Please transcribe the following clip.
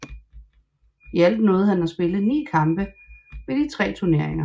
I alt nåede han at spille ni kampe ved de tre turneringer